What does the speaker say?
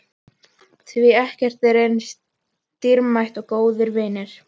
Því ekkert er eins dýrmætt og góðir vinir.